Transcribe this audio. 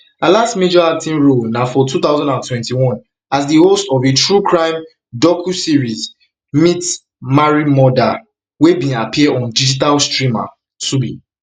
her last major acting role na for two thousand and twenty-one as di host of a truecrime docuseries meet marry murder wey bin appear on digital streamer tubi